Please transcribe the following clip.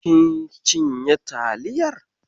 Kin cinye taliyar?